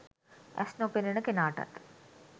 ඇස් නොපෙනෙන කෙනාටත්